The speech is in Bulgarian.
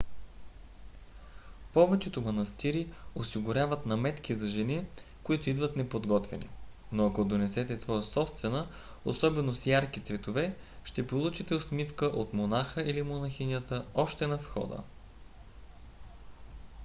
повечето манастири осигуряват наметки за жени които идват неподготвени но ако донесете своя собствена особено с ярки цветове ще получите усмивка от монаха или монахинята още на входа